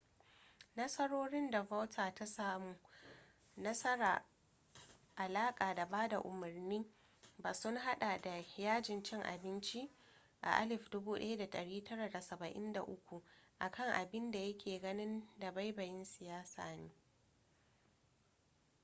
nasarorin da vautier ta samu marasa alaka da bada umarni ba sun hada da yajin cin abinci a 1973 a kan abin da ya ke ganin dabaibayin siyasa ne